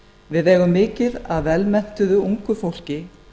við eigum mikið af vel menntuðu ungu fólki